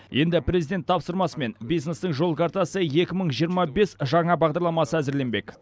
енді президент тапсырмасымен бизнестің жол картасы екі мың жиырма бес жаңа бағдарламасы әзірленбек